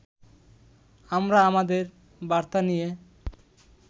আমরা আমাদের বার্তা নিয়ে